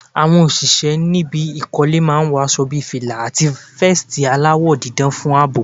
Àwọn òṣìṣẹ́ níbi ìkọ́lé máa ń wọ aṣo bí fìlà, àti vẹ́ẹ̀stì aláwọ̀ dídán fún àbò.